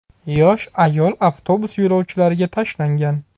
Yosh ayol avtobus yo‘lovchilariga tashlangan.